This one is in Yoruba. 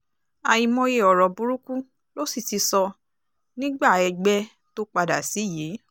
àìmọye ọ̀rọ̀ burúkú ló sì ti sọ nígbà ẹgbẹ́ tó padà sí yìí